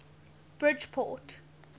bridgeport